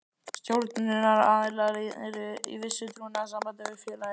Stjórnunaraðilar eru í vissu trúnaðarsambandi við félagið.